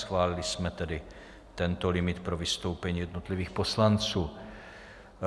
Schválili jsme tedy tento limit pro vystoupení jednotlivých poslanců.